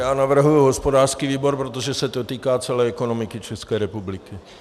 Já navrhuji hospodářský výbor, protože se to týká celé ekonomiky České republiky.